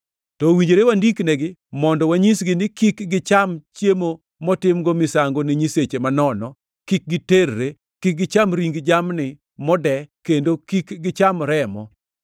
To owinjore wandiknegi mondo wanyisgi ni kik gicham chiemo motimgo misango ne nyiseche manono, kik giterre, kik gicham ring jamni mode kendo kik gicham remo.